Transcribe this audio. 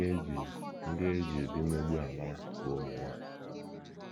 Ndị e ji Ndị e ji ụdị mmegbu a mara bụ ụmụ nwanyị.